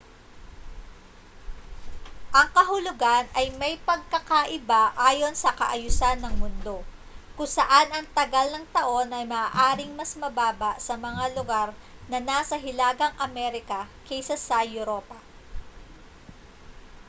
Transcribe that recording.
ang kahulugan ay may pagkakaiba ayon sa kaayusan ng mundo kung saan ang tagal ng taon ay maaaring mas mababa sa mga lugar na nasa hilagang amerika kaysa sa europa